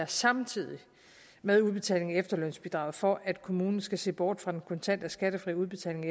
samtidig med udbetalingen af efterlønsbidraget for at kommunen skal se bort fra den kontante og skattefri udbetaling